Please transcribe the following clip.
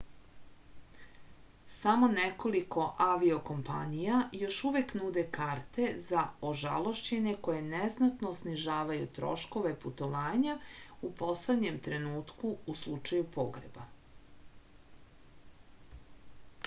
samo nekoliko aviokompanija još uvek nude karte za ožalošćene koje neznatno snižavaju troškove putovanja u poslednjem trenutku u slučaju pogreba